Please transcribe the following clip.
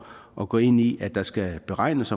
at gå ind i at der skal beregnes